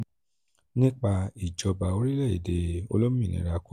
nípa ìjọba orílẹ̀-èdè olómìnira congo